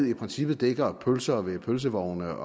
i princippet dækker pølser ved pølsevogne